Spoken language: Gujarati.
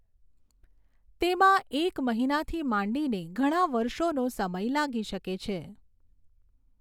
તેમાં એક મહિનાથી માંડીને ઘણા વર્ષોનો સમય લાગી શકે છે.